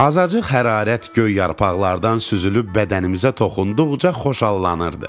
Azacıq hərarət göy yarpaqlardan süzülüb bədənimizə toxunduqca xoşhallanırdıq.